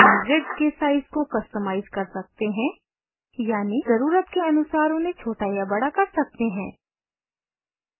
हम grids के size को customize कर सकते हैं यानि ज़रुरत के अनुसार उन्हें छोटा या बड़ा कर सकते हैं